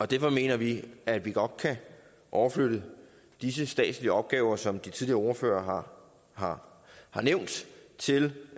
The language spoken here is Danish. derfor mener vi at vi godt kan overflytte disse statslige opgaver som de tidligere ordførere har har nævnt til